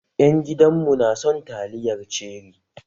Ƴan gidan mu na son taliyar ceri.